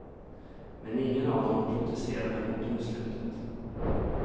Men ingen av dem protesterade mot domslutet.